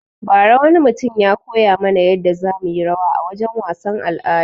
Ba ra wani mutum ya koya mana yadda za muyi rawa a wajen wasan al'ada